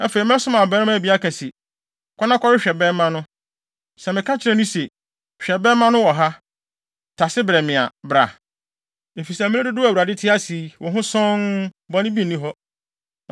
Afei, mɛsoma abarimaa bi aka se, ‘Kɔ na kɔhwehwɛ bɛmma no.’ Sɛ meka kyerɛ no se, ‘Hwɛ, bɛmma no wɔ ha; tase brɛ me a,’ bra, efisɛ mmere dodow a Awurade te ase yi, wo ho sɔnn; bɔne bi nni hɔ.